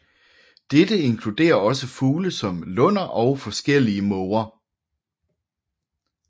Dette inkluderer også fugle som lunder og forskellige måger